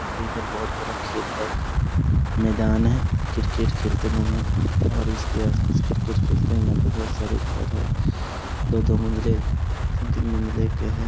एक तो इधर बहुत बड़ा टाइप मैदान है। क्रिकेट खेलते हैं लोग यहाँ और इसके आसपास क्रिकेट खेलते हैं और यहाँ पे बहुत सारे घर हैं। दो-दो मंजिले तीन-तीन मंजिले के हैं।